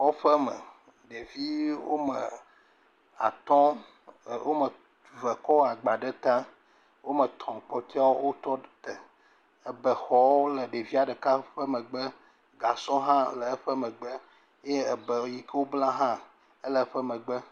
Kɔƒe me, ɖevi wome atɔ̃, e wome ve kɔ agba ɖe ta, wome tɔ̃ kpɔtuiawo wotɔ ɖѐ ebexɔwo le ɖevia ɖeka ƒe megbe, gasɔ hã le eƒe megbe ye ebe yike wobla hã le eƒe megbe.